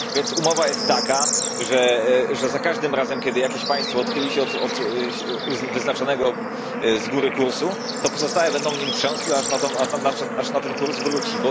Więc umowa jest taka, że za każdym razem, kiedy jakieś państwo odchyli się od wyznaczonego z góry kursu, to pozostałe będą nim trzęsły, aż na ten kurs wróci.